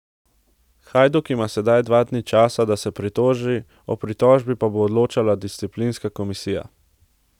Hajduk ima sedaj dva dni časa, da se pritoži, o pritožbi pa bo odločala disciplinska komisija.